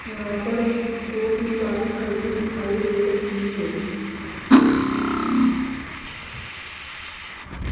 यहां पर दो तीन बाइक खड़ी दिखाई दे रही है।